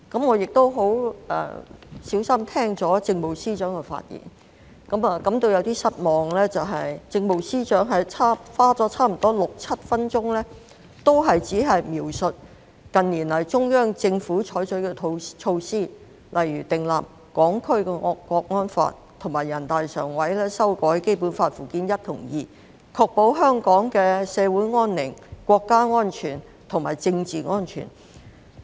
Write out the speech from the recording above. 我亦細心聆聽政務司司長發言，感到有點失望的是，政務司司長花了差不多六七分鐘時間，都只是描述近年來中央採取的措施，例如訂立《香港國安法》及全國人民代表大會常務委員會修改《基本法》附件一及附件二，確保香港社會安寧、國家安全和政治安全。